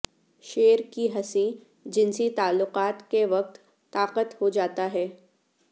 شیر کی ہنسی جنسی تعلقات کے وقت طاقت ہو جاتا ہے